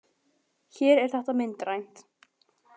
Hér er þetta myndrænt!